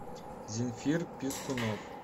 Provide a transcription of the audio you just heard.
земфир пискунов